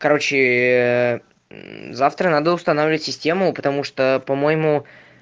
короче аа завтра надо устанавливать систему потому что по-моему